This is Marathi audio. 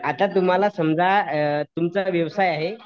आता तुम्हाला समजा तुमचा व्यवसाय आहे